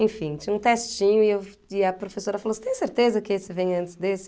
Enfim, tinha um testinho e eu e a professora falou assim, você tem certeza que esse vem antes desse?.